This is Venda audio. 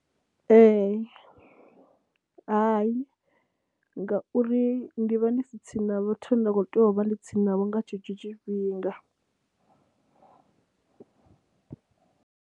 Ee, hayi ngauri ndi vha ndi si tsini na vhathu vhane nda khou tea u vha ndi tsini navho nga tshetsho tshifhinga.